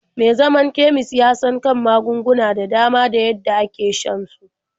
Me zaman kemis ya san kan magunguna da dama da yadda ake shan su.